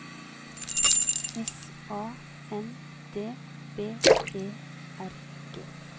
S A N D B E R G